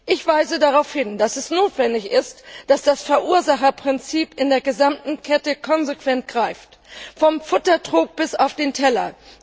Ich weise darauf hin, dass es notwendig ist, dass das Verursacherprinzip in der gesamten Kette konsequent greift vom Futtertrog bis zum Teller.